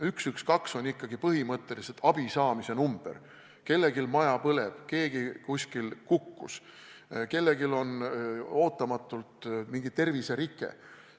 Telefon 112 on aga ikkagi põhimõtteliselt abi saamise number – kui kellelgi maja põleb, keegi kuskil kukkus, kellelgi on ootamatult mingi terviserike jne.